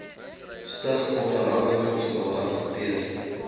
stig onderhandelingsrade hanteer